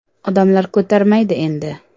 Odamlar ko‘tarmaydi endi.